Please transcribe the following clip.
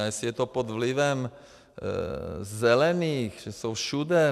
A jestli je to pod vlivem zelených, že jsou všude...